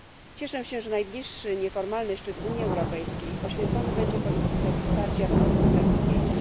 Cieszę się, że najbliższy nieformalny szczyt Unii Europejskiej poświęcony będzie polityce wsparcia wzrostu i zatrudnienia.